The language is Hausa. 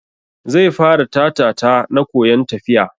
Zai fara Ta-ta-ta na koyan tafiya.